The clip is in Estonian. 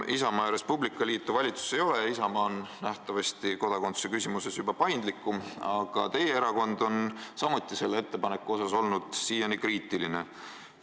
Isamaa ja Res Publica Liitu valitsuses enam ei ole ja Isamaa on kodakondsusküsimuses nähtavasti paindlikum, aga teie erakond on samuti selle ettepaneku suhtes siiani kriitiline olnud.